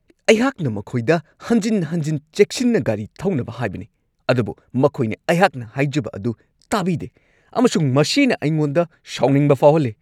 ꯑꯩꯍꯥꯛꯅ ꯃꯈꯣꯏꯗ ꯍꯟꯖꯤꯟ-ꯍꯟꯖꯤꯟ ꯆꯦꯛꯁꯤꯟꯅ ꯒꯥꯔꯤ ꯊꯧꯅꯕ ꯍꯥꯏꯕꯅꯤ ꯑꯗꯨꯕꯨ ꯃꯈꯣꯏꯅ ꯑꯩꯍꯥꯛꯅ ꯍꯥꯏꯖꯕ ꯑꯗꯨ ꯇꯥꯕꯤꯗꯦ ꯑꯃꯁꯨꯡ ꯃꯁꯤꯅ ꯑꯩꯉꯣꯟꯗ ꯁꯥꯎꯅꯤꯡꯕ ꯐꯥꯎꯍꯜꯂꯤ ꯫